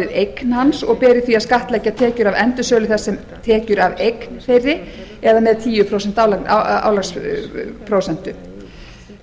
eign hans og beri því að skattleggja tekjur af endursölu þess sem tekjur af eign þeirri eða með tíu prósent álagsprósentu